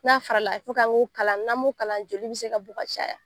N'a fara la kala n'an m'u kalan, joli bɛ se ka bɔ ka caya.